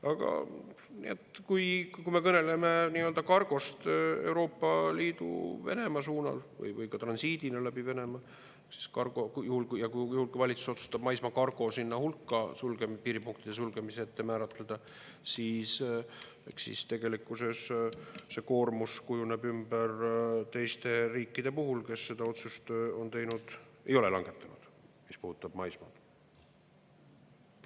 Aga kui me kõneleme kargost Euroopa Liidu – Venemaa suunal või transiidina läbi Venemaa, siis juhul, kui valitsus otsustab maismaakargo piiripunktide sulgemise puhul sinna hulka määratleda, siis tegelikkuses see koormus kujuneb ümber teiste riikide vahel, kes seda otsust ei ole langetanud, mis puudutab maismaad.